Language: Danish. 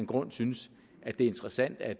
grund synes at det er interessant at